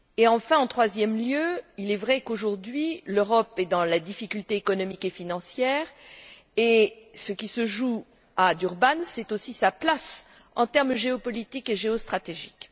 Enfin, en troisième lieu, il est vrai qu'aujourd'hui l'Europe est dans la difficulté économique et financière et ce qui se joue à Durban, c'est aussi sa place en termes géopolitique et géostratégique.